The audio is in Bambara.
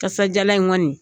Kasajalan in kɔni